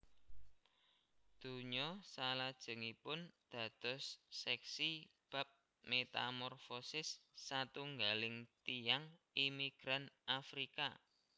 Donya salajengipun dados seksi bab metamorfosis satunggaling tiyang imigran Afrika